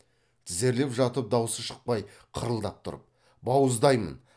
тізерлеп жатып даусы шықпай қырылдап тұрып бауыздаймын